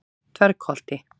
Dvergholti